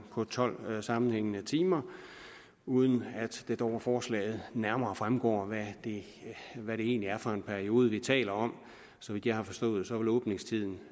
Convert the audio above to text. tolv sammenhængende timer uden at det dog af forslaget nærmere fremgår hvad det egentlig er for en periode vi taler om så vidt jeg har forstået vil åbningstiden